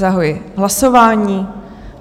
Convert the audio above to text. Zahajuji hlasování.